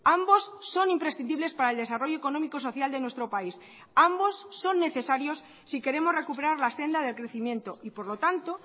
ambos son imprescindibles para el desarrollo económico social de nuestro país ambos son necesarios si queremos recuperar la senda del crecimiento y por lo tanto